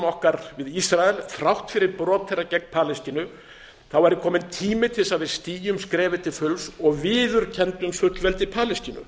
okkar við ísrael þrátt fyrir brot þeirra gegn palestínu væri kominn tími til þess að við stigum skrefið til fulls og viðurkenndum fullveldi palestínu